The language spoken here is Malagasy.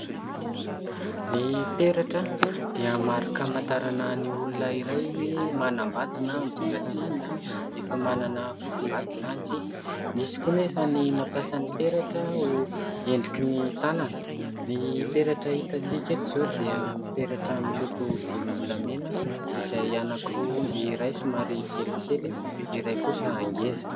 Ny peratra dia marika amantarana ny olona iray hoe efa manambady na mbola tsia na efa manana fofombady na tsia. Misy koa anefa ny mampiasa ny peratra ho endriky ny tanana. Ny peratra hitantsika eto izao dia peratra miloko volom-bolamena izay anankiroa : ny iray somary kelikely, ny iray kosa ngeza.